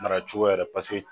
Mara cogoya yɛrɛ paseke